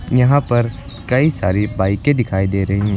यहां पर कई सारी बाइके दिखाई दे रही है।